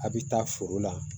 A' bɛ taa foro la